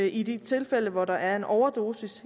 i de tilfælde hvor der er en overdosis